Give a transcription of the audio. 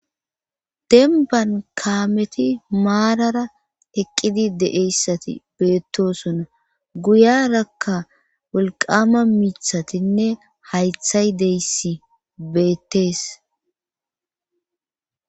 denban kaameti maarara eqqidi de7eyssati beettosona guyarakka wolqama mithatinne haythay deyssi beettees